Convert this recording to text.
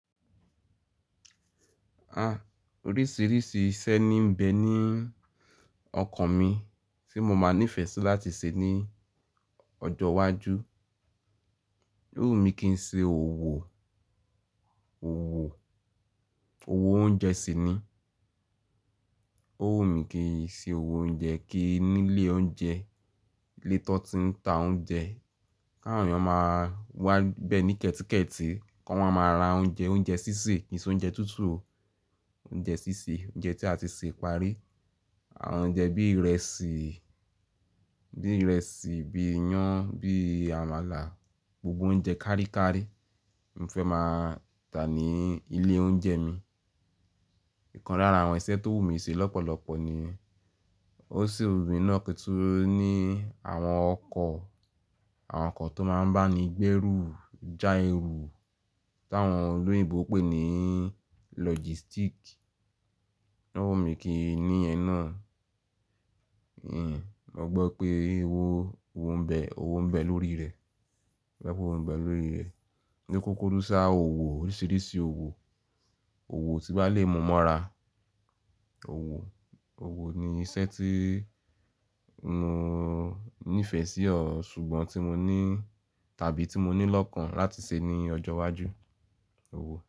Oríṣìíríṣìí iṣẹ́ ní ń bẹ ní ọkàn mi tí mo máa nífẹ̀ẹ́ sí láti ṣe ní ọjọ́ iwájú. Ó wù mí kí n ṣe òwò, òwò, òwò oúnjẹ sì ni. Ó wù mí kí n ṣe òwò oúnjẹ kí nílé oúnjẹ, ilé tọ̀ tí ń ta oúnjẹ, káwọn èèyàn máa wá bẹ ní kẹ́tikẹ́tí kan wa máa ra oúnjẹ, oúnjẹ sísè kì í ṣe oúnjẹ tútù. Oúnjẹ sísè, oúnjẹ tí a ti sè parí. Àwọn oúnjẹ bí ìrẹsì, bí ìrẹsì, bí iyán, bí àmàlà, gbogbo oúnjẹ káríkári mi fẹ́ máa tà ní ilé oúnjẹ mi. Ìkan lára àwọn iṣẹ́ tó wù mí ṣe lọ́pọ̀lọpọ̀ ni, ó sì wù mí náà kí tu ní àwọn ọkọ̀, àwọn ọkọ̀ tó máa ń bá ni gbé rù, já èrù, tà wọn olóyìnbo pé ní logistic. Ó wù mí kí ni yen náà. Mo gbọ́ pé owó, òwò ń bẹ, òwò ń bẹ lórí rẹ̀. Mo gbọ́ pé òwò ń bẹ lórí rẹ̀. Ni kókó dúdú sáa òwò, oríṣìíríṣìí òwò, òwò tí bá le mú mọ ra. Òwò, òwò ni iṣẹ́ tí mo nífẹ̀ẹ́ sí ọ̀ ṣùgbọ́n tí mo ní tàbí tí mo ní lọ́kàn láti ṣe ní ọjọ́ iwájú, òwò.